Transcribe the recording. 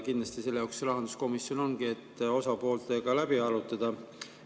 Kindlasti selle jaoks rahanduskomisjon ongi, et osapooltega läbi arutada.